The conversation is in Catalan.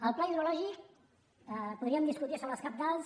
del pla hidrològic podríem discutir sobre els cabals